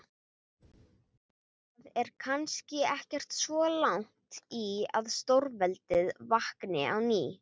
Það er kannski ekkert svo langt í að stórveldið vakni á ný.